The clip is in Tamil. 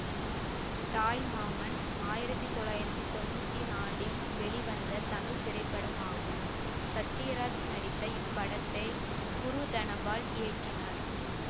தாய் மாமன் ஆயிரத்தி தொள்ளாயிரத்தி தொன்னூத்தி நாலில் வெளிவந்த தமிழ் திரைப்படமாகும் சத்யராஜ் நடித்த இப்படத்தை குருதனபால் இயக்கினார்